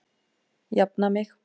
Jafna mig!